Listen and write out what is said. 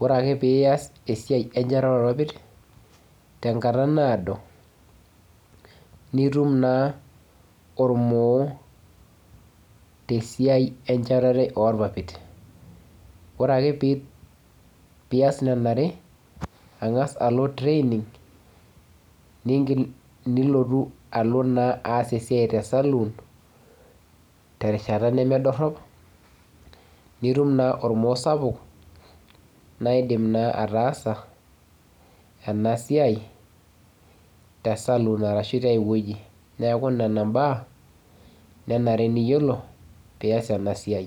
Wore ake pee ias enchatare oorpapit, tenkata naado, nitum naa ormoo tesiai enchatare oorpapit. Wore ake pee ias niana are, angas alo training, niigil nilotu alo naa aas esiai te saluun, terishata nemedorop, nitum naa ormoo sapuk naa iindim naa ataasa ena siai tesaluun ashu tiaiwoji. Neeku niana imbaa, nenare niyiolo, pee ias ena siai.